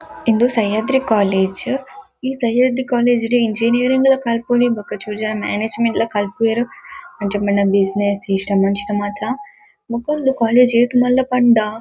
ಇಂದು ಸಹ್ಯಾದ್ರಿ ಕಾಲೇಜ್ ಈ ಸಹ್ಯಾದ್ರಿ ಕಾಲೇಜ್ ಡ್ ಇಂಜಿನಿಯರಿಂಗ್ ಲ ಕಲ್ಪೊಲಿ ಬೊಕ ಮ್ಯಾನೇಜ್ ಮೆಂಟ್ ಲ ಕಲ್ಪುವೆರ್ ಅಂಚ ಪಂಡ ಬ್ಯುಸಿನೆಸ್ ಅಂಚಿನ ಮಾತ ಬೊಕ್ಕ ಇಂದು ಕಾಲೇಜ್ ಏತ್ ಮಲ್ಲ ಪಂಡ--